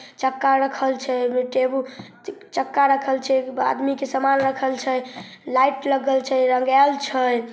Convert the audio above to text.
चक्का रखल छै ओ मे टेबूल चक्का रखल छै आदमी के समान रखल छै लाइट लगल छै रंगैएल छै।